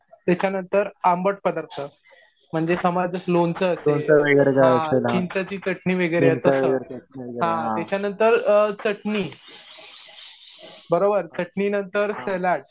त्याच्यानंतर आंबट पदार्थ म्हणजे समज लोणचं असेल, चिंचेची चटणी वगैरे असेल हा. त्याच्यानंतर चटणी बरोबर, चटणी नंतर सलाड